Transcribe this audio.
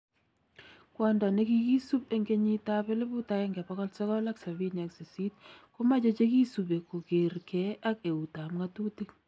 Kwondo nekikisuub 1978 komache chekisubee koker ke ak eut ab ng'atutik